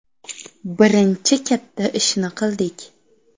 Birinchi katta ishni qildik.